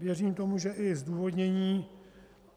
Věřím tomu, že i zdůvodnění.